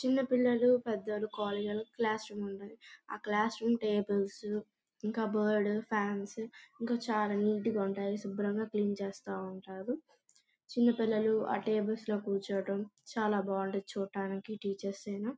చిన్న పిల్లలు పెద్దలు క్లాస్ రూమ్ ఉన్నది. ఆ క్లాస్ రూమ్ టేబుల్స్ ఇంకా కప్ బోర్డు ఫాన్స్ ఇంకా చాలా నీట్ గా ఉంటాయి. శుభ్రంగా క్లీన్ చేస్తూ ఉంటారు. చిన్న పిల్లలు ఆ టేబుల్స్ లో కూర్చోవటం చాలా బాగుంటది చూడ్డానికి టీచర్స్ ఐనా.